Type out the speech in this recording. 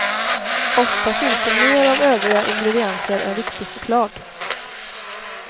Ofta finns det mer av övriga ingredienser än riktig choklad.